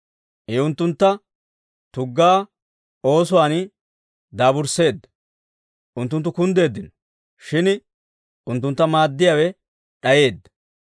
I unttuntta tugga oosuwaan daabursseedda; unttunttu kunddeeddino; shin unttuntta maaddiyaawe d'ayeedda.